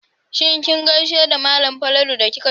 Shin kin gaishe da malam Falalu da kika shigo aji?